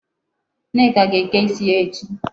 Nneka ga-eke isi ya echi.